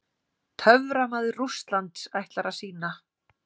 TÖFRAMAÐUR RÚSSLANDS ætlar að sýna.